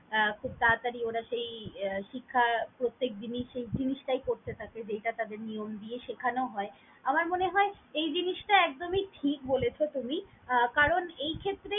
আহ খুব তারতারি ওরা সেই শিক্ষা প্রতেকদিনি সেই জিনিসটাই করতে থাকে যেইটা তাদের নিয়ম শেখানো হয়। আমার মনে হয় এই জিনিসটা একদমই ঠিক বলেছ তুমি আহ কারন এইক্ষেত্রে।